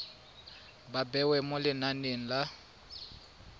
ba bewa mo lenaneng la